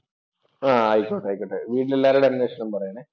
ആയിക്കോട്ടെ, കോഴിക്കോട്ടെ, വീട്ടിൽ എല്ലാവരോടും അന്വേഷണം പറയണേ.